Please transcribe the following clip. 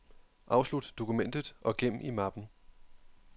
Afslut dokumentet og gem i mappen.